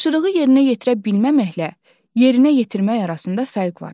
Tapşırığı yerinə yetirməməklə, yerinə yetirmək arasında fərq var.